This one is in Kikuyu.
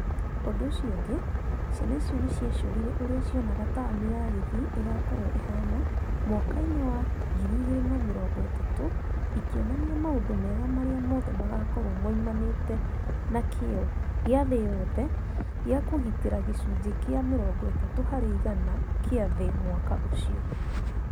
ũndũ ucio ũngĩ, ciana icio nĩ ciacorire ũrĩa cionaga taũni ya Kisii ĩgaakorũo ĩhaana mwaka-inĩ wa 2030, ikĩonania maũndũ mega marĩa mothe magaakorũo moimanĩte na kĩyo gĩa thĩ yothe gĩa kũgitĩra gĩcunjĩ kĩa 30 harĩ igana kĩa thĩ mwaka-inĩ ũcio.